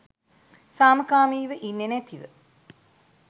සාමකාමීව ඉන්නෙ නැතිව